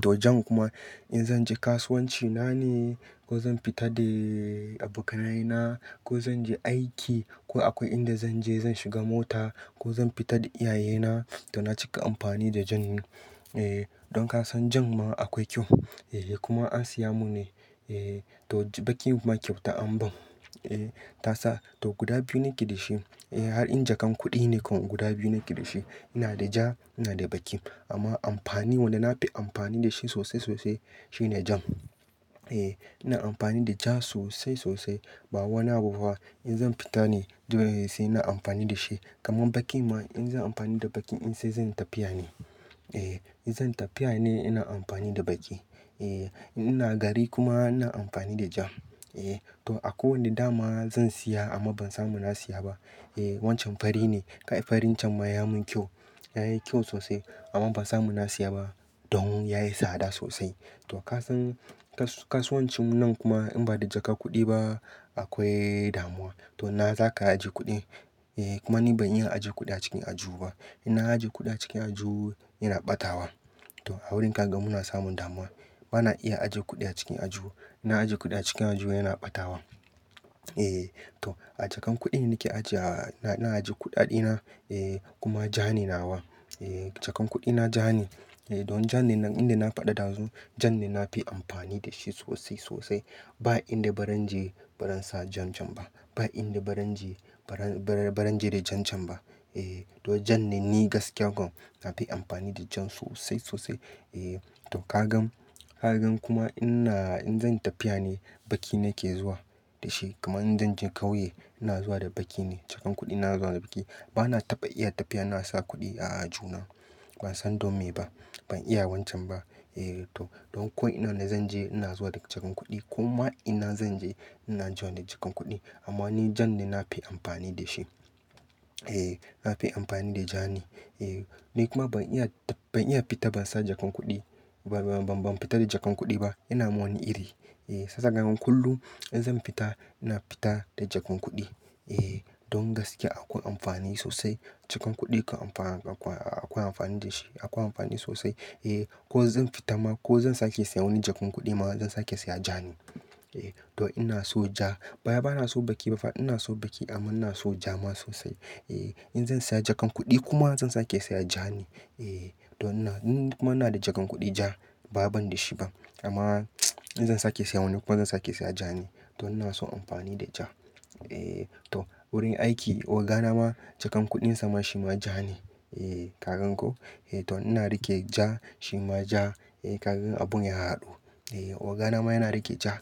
To, jan kuma in zan je kasuwanci na ne ko zan fita da abokanai na ko zan je aiki ko akwai inda zan je, zan shiga mota ko zan fita da iyaye na, to na cika amfani da jan. Don ka san jan ma akwai kyau, kuma an siya mun ne. To, baƙin kuma kyauta an ban. Ta sa, to guda biyu nake da shi. Har in jakan kuɗi ne ko, guda biyu nake da shi. Ina da ja, ina da baƙi. Amma amfani wanda na fi amfani da shi sosai-sosai shine jan. Eh, ina amfani da ja sosai-sosai. Ba wani abu ba. In zan fita ne, dole ne sai ina amfani da shi. Kaman bakin ma in zan amfani da baƙin in sai zan tafiya ne. Eh, in zan tafiya ne ina amfani da baƙi. Ina gari kuma ina amfani da ja. To, akwai wanda dama zan siya amma ban samu na siya ba. Wancan fari ne. Kai farin can ma ya mun kyau, yayi kyau sosai amma ban samu na siya ba. Don yayi tsada sosai. To ka san kasuwancin nan kuma in ba da jakar kuɗi ba akwai damuwa. To, ina za ka ajiye kuɗi? Kuma ni ban iya ajiye kuɗi a cikin aljihu ba. In na ajiye kuɗi a cikin aljihu yana ɓatawa. To a wurin ka ga muna samun damuwa. Bana iya ajiye kuɗi a cikin aljihu. In na ajiye kuɗi a cikin aljihu yana ɓatawa. Eh to, a jakan kuɗi nake ajiya. Ina ajiye kuɗaɗe na kuma ja ne nawa. Jakan kuɗi na ja ne. Don jan nan inde na faɗa ɗazu, jan ne na fi amfani da shi sosai-sosai. Ba inda baran je baran sa jan can ba. Ba inda baran je baran baran je da jan can ba. To, jan ne ni gaskiya kuma na fi amfani da jan sosai-sosai. Dan kagan kuma, ai ni in zan tafiya ne biki nake zuwa dashi kamar idan zanje kauye ina zuwa da kuɗi ba na taɓa iya tafiya ina sa kuɗi na a aljihuna. Ban san don me ba. Ban iya wancan ba. To, don ko ina na zan je ina zuwa da jakan kuɗi. Koma ina zan je ina zuwa da jakan kuɗi. Amma ni jan ne na fi amfani da shi. Eh, nafi amfani da ja ne. Ni kuma ban iya, ban iya fita ban sa jakan kuɗi. Ban fita da jakan kuɗi ba. Yana mun wani iri. Shiya kaga kullum in zan fita, ina fita da jakan kuɗi. Don gaskiya akwai amfani sosai. Jakan kuɗi kam akwai amfani da shi. Akwai amfani sosai. Ko zan fita ma ko zan sake siya wani jakan kuɗi ma zan sake siya ja ne. To, ina so ja. Bawai ba na so baƙi ba fa, ina so baƙi amma ina so ja ma sosai. In zan siya jakan kuɗi kuma zan sake siya ja ne. Eh ina da jakan kuɗi ja bawai ban dashi ba kamar yau zan sake siyan ja ne don ina so amfani da ja. To, wurin aiki ogana ma, jakan kuɗin sa ma shi ma ja ne. Ka gan ko? To, ina rike ja. Shi ma ja. Ka gan abun ya haɗu. Ogana ma yana rike ja.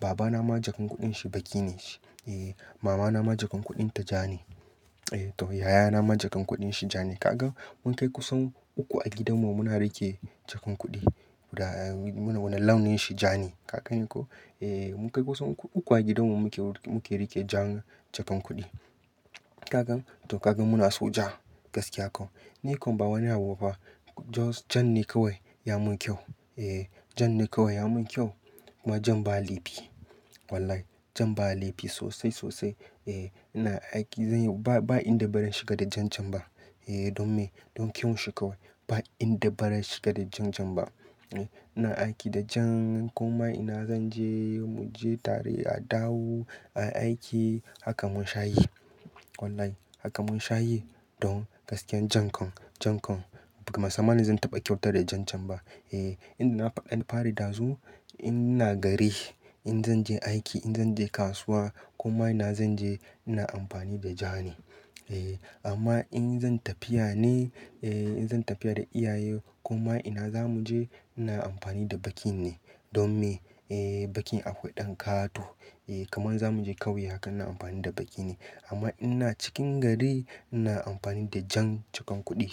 Baba na ma jakan kuɗin shi baƙi ne. Mama na ma jakan kuɗin ta ja ne. Yaya na ma jakan kuɗin shi ja ne. Kaga mun kai kusan uku a gidanmu muna rike jakan kuɗi. Wannan, launin shi ja ne. Ka gan ko? Eh, mun kai kusan uku a gidanmu muke rike jan jakan kuɗi. Ka gani? To ka gani muna so ja gaskiya ko. Ni kuma ba wani abu ba. Jan ne kawai ya mun kyau. Eh, jan ne kawai ya mun kyau. Kuma jan ba laifi. Wallahi jan ba laifi sosai-sosai. Ina aiki, ba inda ba zan shiga da jan can ba. Don me? Don kyawun shi kawai. Ba inda baran shiga da jan can ba. Ina aiki da jan kuma ina zan je mu je tare a dawo aiki, haka mun shayi. Wallahi haka mun shayi. Don, gaskiyan jan kan, jan kan. Ban tsammani zan taɓa kyautata da jan can ba. Yanda na faɗa ɗazu, ina gari, in zan je aiki, in zan je kasuwa kuma ina zan je ina amfani da ja ne. Amma in zan tafiya ne, in zan tafiya da iyaye kuma ina zamu je ina amfani da baƙi ne. Don me? Baƙin akwai ɗan ƙato. Kaman zamu je ƙauye haka ina amfani da baƙi ne. Amma a cikin gari ina amfani da jan jakan kuɗi.